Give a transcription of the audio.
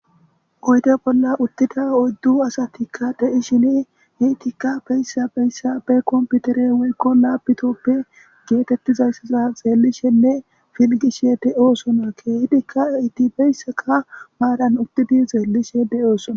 Oyde bolla uttida oyddu asatikka deishini hiitikka beyssa beyssa be komputere weykko laabitoppe geetettizayssaza xeellishenne filgishe de'oosona keehidikka itibeyssaka maaran uttidi xeellishe de'oosona.